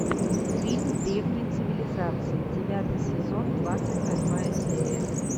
фильм древние цивилизации девятый сезон двадцать восьмая серия